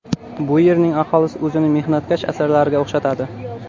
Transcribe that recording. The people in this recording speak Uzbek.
Bu yerning aholisi o‘zini mehnatkash asalariga o‘xshatadi.